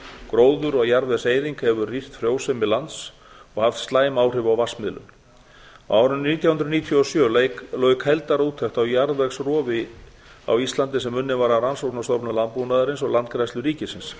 gróður og jarðvegseyðing hefur rýrt frjósemi lands og haft slæm áhrif á vatnsmiðlun á árinu nítján hundruð níutíu og sjö lauk heildarúttekt á jarðvegsrofi á íslandi sem unnin var af rannsóknastofnun landbúnaðarins og landgræðslu ríkisins